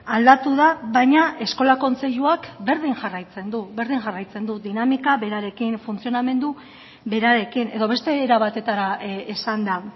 aldatu da baina eskola kontseiluak berdin jarraitzen du berdin jarraitzen du dinamika berarekin funtzionamendu berarekin edo beste era batetara esanda